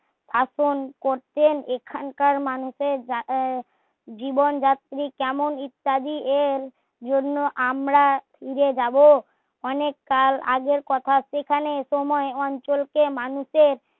শাসন করতেন এখানকার মানুষের জীবন যাত্রী কেমন ইত্যাদি এর জন্য আমরা ফিরে যাবো অনেক কাল আগের কথা সেখানে সময় অঞ্চলকে মানুষের